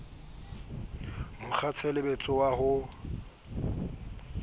mo kgwatshebetso wa ho to